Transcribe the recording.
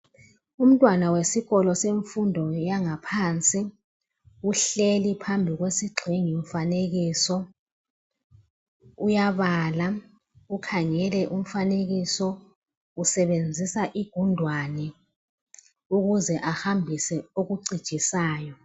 Umntwana wesikolo semfundo yaphansi uhleli phambi kwesigxingimfanekiso uyabala ukhangele umfanekiso ukuze ahambise okucijisayo.